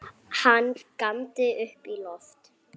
Hann góndi upp í loftið!